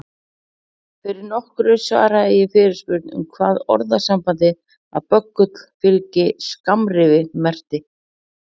Fyrir nokkru svaraði ég fyrirspurn um hvað orðasambandið að böggull fylgi skammrifi merkti.